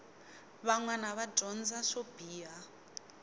vanwana va dyondza swo biha